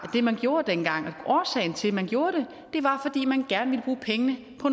det man gjorde dengang og årsagen til at man gjorde det var fordi man gerne ville bruge pengene på